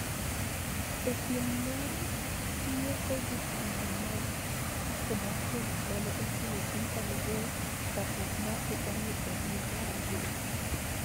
e piem mag yieko jotugo mag Afrobasket mane otim e piny Cameroon chakruok mar higa ni e dwe mar ariyo.